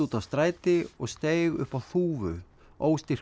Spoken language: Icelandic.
stræti og steig upp á þúfu